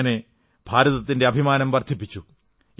അങ്ങനെ ഭാരതത്തിന്റെ അഭിമാനം വർധിപ്പിച്ചു